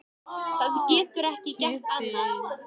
Það getur ekki gert annað.